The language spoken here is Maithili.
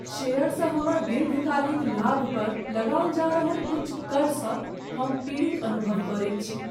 शेयरसँ हमर दीर्घकालिक लाभपर लगाओल जा रहल उच्च करसँ हम पीड़ित अनुभव करैत छी।